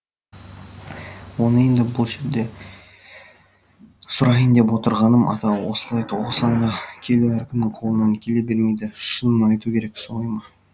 оны енді бұл жерде сұрайын деп отырғаным ата осылай тоқсанға келу әркімнің қолынан келе бермейді шынын айту керек солай ма